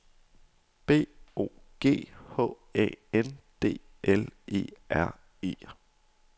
B O G H A N D L E R E